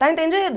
Está entendido?